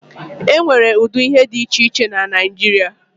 E nwere ụdị ihe dị iche iche na Naijiria.